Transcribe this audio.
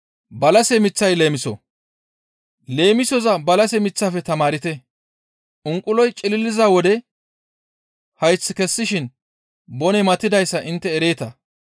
«Leemisoza balase miththafe tamaarte. Unquloy cililiza wode hayth kessishin boney matidayssa intte ereeta.